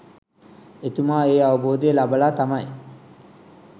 එතුමා ඒ අවබෝධය ලබලා තමයි